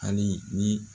Hali ni